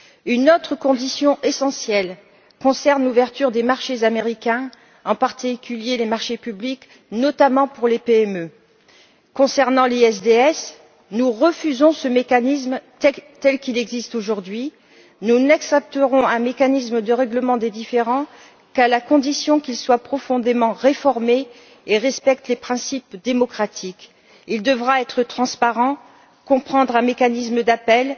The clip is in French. Une autre condition essentielle concerne l'ouverture des marchés américains, en particulier les marchés publics, notamment pour les PME. Concernant le RDIE, nous refusons ce mécanisme tel qu'il existe aujourd'hui. Nous n'accepterons un mécanisme de règlement des différends qu'à la condition qu'il soit profondément réformé et qu'il respecte les principes démocratiques. Il devra être transparent, comprendre un mécanisme d'appel,